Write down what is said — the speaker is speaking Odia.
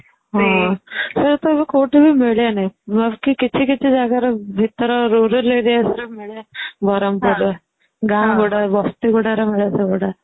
ହଁ ସେ ସବୁ କୋଉଠି ବି ମିଳେନି ମାନେ କିଛି କିଛି ଜାଗାରେ ଭିତରେ rural areaରେ ସବୁ ମିଳେ ବରମପୁର ରେ ଗାଁ ଗୁଡା ବସ୍ତି ଗୁଡାରେ ମିଳେ ସବୁ ସେଗୁଡା